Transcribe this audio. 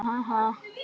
Hvaðan kemur nafnið?